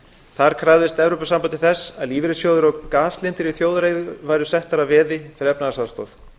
þar krafðist e s b þess að lífeyrissjóðir og gaslindir í þjóðareigu væru settar að veði fyrir efnahagsaðstoð